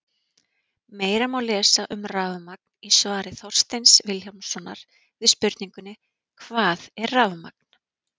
Meira má lesa um rafmagn í svari Þorsteins Vilhjálmssonar við spurningunni Hvað er rafmagn?